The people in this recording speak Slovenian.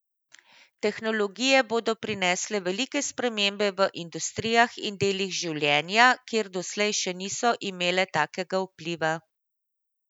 Tehnologije bodo prinesle velike spremembe v industrijah in delih življenja, kjer doslej še niso imele takega vpliva.